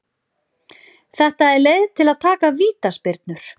Þetta er leið til að taka vítaspyrnur.